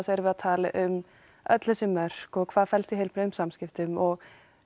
erum við að tala um öll þessi mörk og hvað felst í heilbrigðum samskiptum og